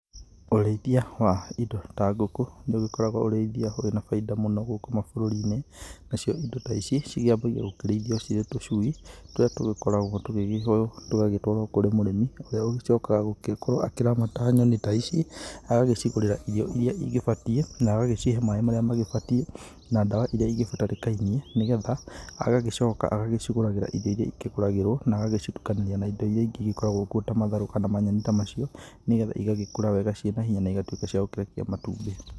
Ũrĩithia wa indo ta ngũkũ ndũgĩkoragwo ũrĩithia ũrĩ na bainda mũno gũkũ mabũrũri-inĩ. Na cio indo ta ici ciambagia gũkĩrũithia cie tũcui tũrĩa tũgĩkoragwo tũgĩgĩtũarwo kũrĩ mũrĩmi, ũrĩa ũcokaga gũgĩkorwo akĩramata nyoni ta ici, agagĩcigũrĩra irio iria igĩbatiĩ na agagĩcihe maĩ marĩa magĩbatiĩ na ndawa iria ingĩbatarĩka nĩ getha, agagĩcoka agagĩcigũragĩra irio iria ikĩgũragĩrwo na agacitukania na irio iria ingĩ igĩkoragwo kũo ta matharũ kana manyeni ta macio, nĩ getha igagĩkũra wega na igatũĩka cia gũkĩrekia matumbĩ.